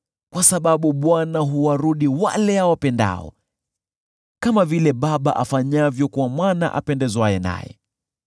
kwa sababu Bwana huwaadibisha wale awapendao, kama vile baba afanyavyo kwa mwana apendezwaye naye.